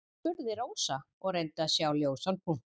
spurði Rósa og reyndi að sjá ljósan punkt.